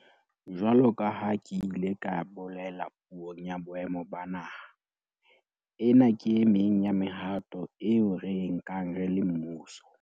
Jwalo ka ha ke ile ka bolela Puong ya Boemo ba Naha, ena ke e meng ya mehato eo re e nkang re le mmuso